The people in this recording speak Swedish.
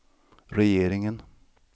regeringen